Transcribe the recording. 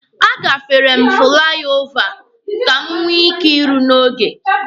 A gafere m na fụlai ova ka m nwee ike iru n'oge.